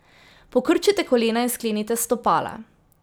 Pokrčite kolena in sklenite stopala.